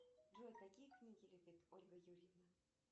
джой какие книги любит ольга юрьевна